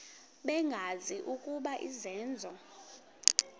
bengazi ukuba izenzo